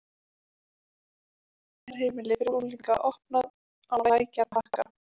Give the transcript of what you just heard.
Meðferðarheimili fyrir unglinga opnað á Lækjarbakka